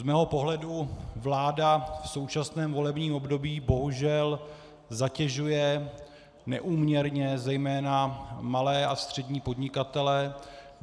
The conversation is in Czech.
Z mého pohledu vláda v současném volebním období bohužel zatěžuje neúměrně zejména malé a střední podnikatele.